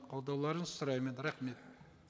қолдауларыңызды сұраймын рахмет